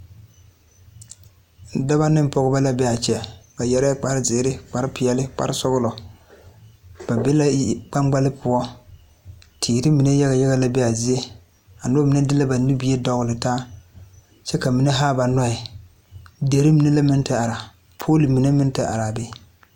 Dɔba ne pɔgeba la be a kyɛ ba yɛrɛɛ kpare zēēre kpare peeɛli kpare sɔgglɔ ba be la yiri kpaŋkpali poɔ teere mine yage yage be la a zie mine de la na nubie dɔgli taa kyɛ ka ba mine haa ba noɔɛ diri mine la meŋ te are poolo mine minne meŋ are la a be.